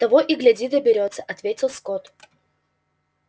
того и гляди доберётся ответил скотт